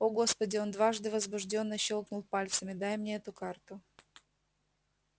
о господи он дважды возбуждённо щёлкнул пальцами дай мне эту карту